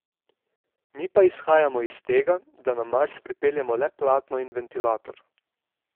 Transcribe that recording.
Mi pa izhajamo iz tega, da na Mars pripeljemo le platno in ventilator.